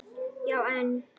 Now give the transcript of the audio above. Já, en.